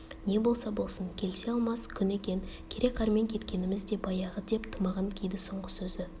не болса болсын келісе алмас күн екен кере-қармен кеткеніміз де баяғы деп тымағын киді соңғы сөзі